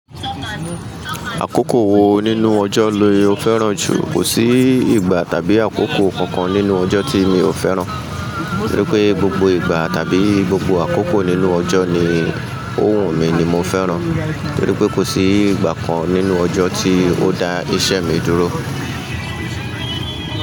Àkókò wo nínú ọjọ́ lo fẹ́ràn jù? Kò sí ìgbà tàbí àkókò kankan nínú ọjọ́ tí mi ò fẹ́ràn. Nítorí pé gbogbo ìgbà tàbí gbogbo àkókò nínú ọjọ́ ní òwú mi ni mo fẹ́ràn. Nítorí pé kò sí ìgbà kan nínú ọjọ́ tí o da iṣẹ́ mi dúró.